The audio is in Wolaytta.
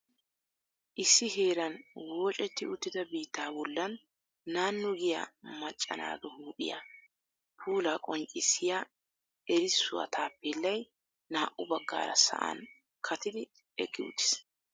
Issi heeran woocetti uttida biitta bollan naanu giya macca naatu huuphphiyaa puula qoncissiyaa erssuwaa 'tapellay' naa'u baggara sa'an katidi eqqi uttis.